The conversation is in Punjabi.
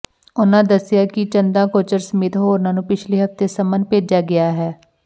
ਉਨ੍ਹਾਂ ਦੱਸਿਆ ਕਿ ਚੰਦਾ ਕੋਚਰ ਸਮੇਤ ਹੋਰਨਾਂ ਨੂੰ ਪਿਛਲੇ ਹਫ਼ਤੇ ਸੰਮਨ ਭੇਜਿਆ ਗਿਆ ਹੈ